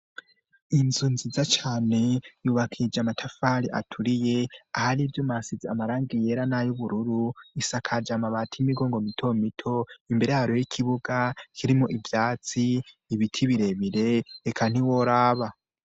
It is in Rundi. inzu nziza cane yubakishije amatafari aturiye ahari ivyuma hasize amarangi yera nayu bururu isakaje amabati y'imigongo mitomito imbere yayo hari ikibuga kirimwo ivyatsi, ibiti biremire reka ntiworaba.